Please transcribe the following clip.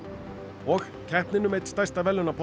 og keppnin um einn stærsta